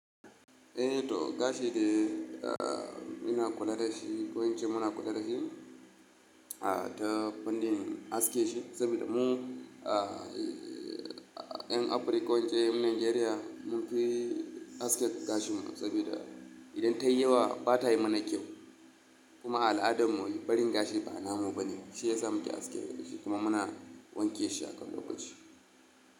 Eh to gashi de, eh, ina kula da shi ko in ce muna kula da shi, ah, ta fannin aske shi saboda mu, ah, ‘yan Afirika ko in ce ‘yan Najeriya mun fi aske gashinmu saboda idan ta yi yawa ba ta yi mana kyau. Kuma al'adarmu barin gashi ba namu bane. Shi ya sa muke aske shi kuma muna wanke shi akan lokaci.